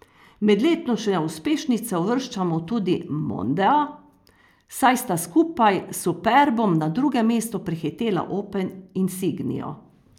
Med letošnje uspešnice uvrščamo tudi mondea, saj sta skupaj s superbom na drugem mestu prehitela opel insignio.